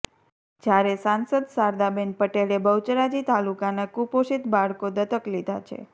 જ્યારે સાંસદ શારદાબેન પટેલે બહુચરાજી તાલુકાનાં કુપોષિત બાળકો દત્તક લીધાં છે